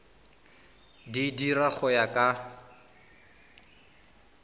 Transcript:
di dira go ya ka